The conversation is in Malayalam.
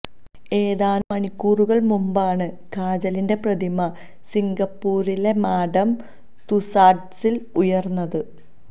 ഏതാനും മണിക്കൂറുകൾ മുൻപാണ് കാജലിന്റെ പ്രതിമ സിംഗപ്പൂരിലെ മാഡം തുസാഡ്സിൽ ഉയർന്നത്